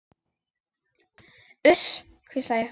Uss, hvísla ég.